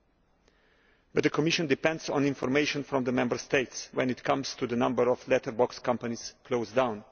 However, the Commission depends on information from the Member States when it comes to the number of letterbox companies closed down.